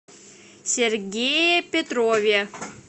сергее петрове